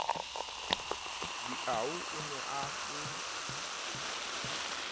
diau o ne a se